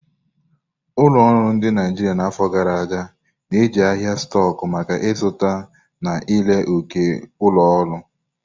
Ụlọ ọrụ dị na Naijiria n'afọ gara aga na-eji ahịa stóku maka izụta na ire ókè ulo oru.